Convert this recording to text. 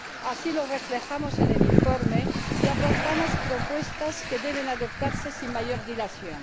Así lo reflejamos en el informe y aportamos propuestas que deben adoptarse sin mayor dilación.